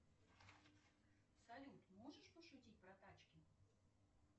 салют можешь пошутить про тачки